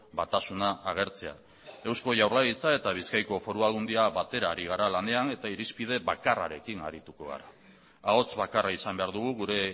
batasuna agertzea eusko jaurlaritza eta bizkaiko foru aldundia batera ari gara lanean eta irizpide bakarrarekin arituko gara ahots bakarra izan behar dugu gure